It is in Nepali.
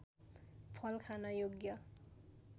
फल खान योग्य